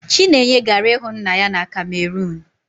Chinenye gara ịhụ nna ya na kamerunu